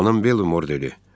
Xanım Bellimor dedi.